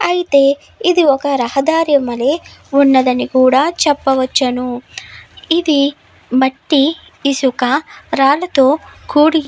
అయితే ఇది ఒక రహదారి వలె ఉన్నదని కూడా చెప్పవచ్చును ఇది మట్టి ఇసుక రాళ్లతో కూడి --